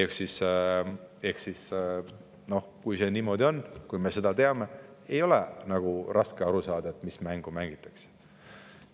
Ehk siis, kui see niimoodi on ja kui me seda teame, siis ei ole raske aru saada, mis mängu mängitakse.